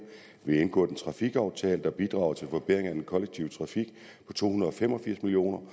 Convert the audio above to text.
vi har indgået en trafikaftale der bidrager til forbedring af den kollektive trafik på to hundrede og fem og firs million